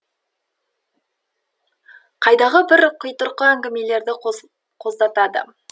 қайдағы бір қитұрқы әңгімелерді қоздатады